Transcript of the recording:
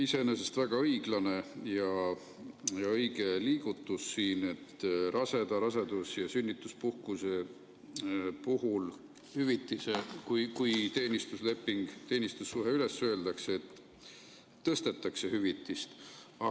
Iseenesest on väga õiglane ja õige liigutus, et raseda, rasedus‑ ja sünnituspuhkuse õiguse puhul, kui teenistusleping või teenistussuhe üles öeldakse, tõstetakse hüvitise määra.